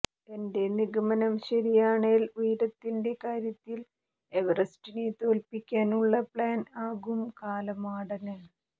എന്റെ നിഗമനം ശരിയാണേൽ ഉയരത്തിന്റെ കാര്യത്തിൽ എവറസ്റ്റിനെ തോൽപ്പിക്കാൻ ഉള്ള പ്ലാൻ ആകും കാലമാടന്